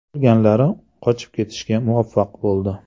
Qolganlari qochib ketishga muvaffaq bo‘ldi.